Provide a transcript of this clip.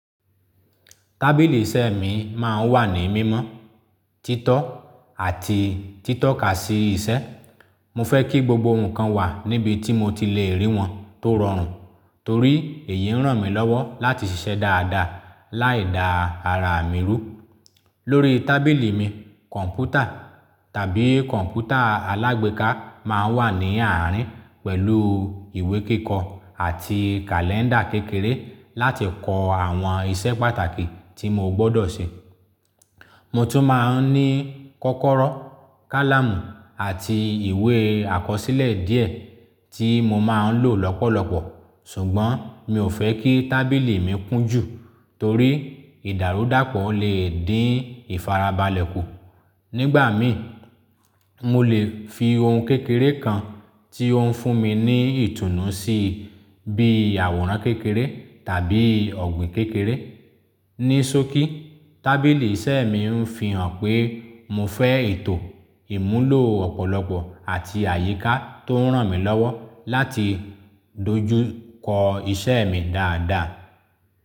Tábìlì iṣẹ́ mi máa ń wà ní mímọ́, títọ́, àti títọ́ ká sí iṣẹ́. Mo fẹ́ kí gbogbo nǹkan wà níbi tí mo ti lè rí wọn tó rọrùn torí èyí ń ràn mí lọ́wọ́ láti ṣiṣẹ́ dáadáa láìda ara mi rú. Lórí tábìlì mi, kọ̀npútà tàbí kọ̀npútà alágbéká máa ń wà ní àárín pẹ̀lú ìwé kíkọ́ àti kàlẹ́ńdà kékeré láti kọ àwọn iṣẹ́ pàtàkì tí mo gbọ́dọ̀ ṣe. Mo tún máa ń ní kọ́kọ́rọ́, kálámù àti ìwé àkọsílẹ̀ díẹ̀ tí mo máa ń lò lọ́pọ̀lọpọ̀ ṣùgbọ́n mi ò fẹ́ kí tábìlì mi kún jù torí ìdàrúdàpọ̀ lè dín ìfarabalẹ̀ kù. Nígbà mi, mo lè fi ohun kékeré kan tí ó ń fún mi ní ìtùnú sí i bí àwòrán kékeré tàbí ọ̀gbìn kékeré. Ní ṣóòkì, tábìlì iṣẹ́ mi ń fi hàn pé mo fẹ́ ètò ìmúlò ọ̀pọ̀lọpọ̀ àti àyíká tó ń ràn mí lọ́wọ́ láti dojú kọ iṣẹ́ mi dáadáa.